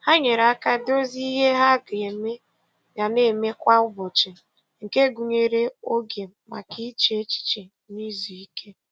Ha nyere aka dozie ihe um ha ga na-eme kwa um ụbọchị nke gụnyere oge maka iche echiche um na izu ike.